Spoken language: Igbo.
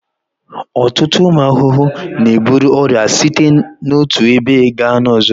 Ọtụtụ ụmụ ahụhụ na-eburu ọrịa site n'otu ebe gaa n'ọzọ